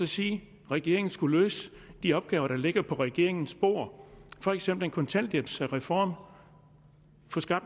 sige at regeringen skal løse de opgaver der ligger på regeringens bord for eksempel en kontanthjælpsreform